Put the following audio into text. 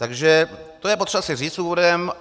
Takže to je potřeba si říct úvodem.